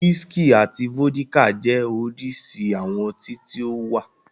Wísíkì àti vódíkà jẹ́ oríṣi àwọn ọtí tí ó wà.